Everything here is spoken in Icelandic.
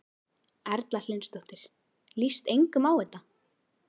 Erla Hlynsdóttir: Líst engum á þetta?